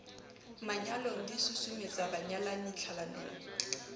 manyalong di susumetsa banyalani tlhalanong